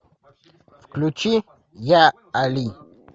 включи я али